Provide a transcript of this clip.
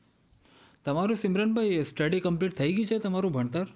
તમારું Simran study complete થઈ ગયું છે? તમારું ભણતર,